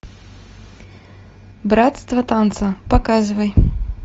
братство танца показывай